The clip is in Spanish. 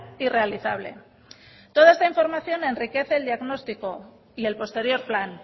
y realizable toda esta información enriquece el diagnóstico y el posterior plan